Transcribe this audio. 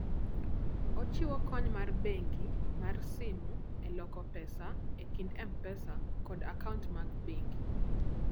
Ochiwo kony mar bengi mar simu e loko pesa e kind M-Pesa kod akaunt mag bengi.